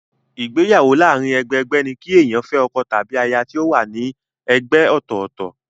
Ìgbéyàwó láàárín ẹgbẹ-ẹgbẹ́ ní kí èèyàn fẹ́ ọkọ tàbí aya tí wọ́n wà ní ẹgbẹ́ ọ̀tọ̀ọ̀tọ̀.